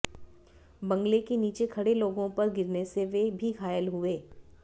बंगले के नीचे खड़े लोगों पर गिरने से वे भी घायल हुये